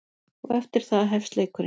Og eftir það hefst leikurinn.